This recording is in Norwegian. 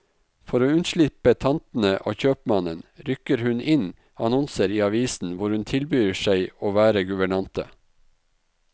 For å unnslippe tantene og kjøpmannen, rykker hun inn annonser i avisen hvor hun tilbyr seg å være guvernante.